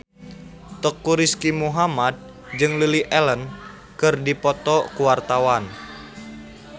Teuku Rizky Muhammad jeung Lily Allen keur dipoto ku wartawan